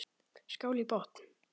Skál í botn!